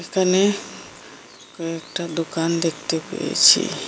এখানে কয়েকটা দোকান দেখতে পেয়েছি।